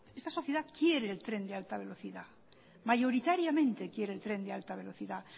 esta sociedad quiere el tren de alta velocidad mayoritariamente quiere el tren de alta velocidad